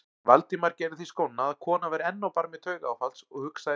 Valdimar gerði því skóna að konan væri enn á barmi taugaáfalls og hugsaði